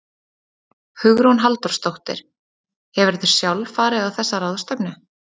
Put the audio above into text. Hugrún Halldórsdóttir: Hefurðu sjálf farið á þessa ráðstefnu?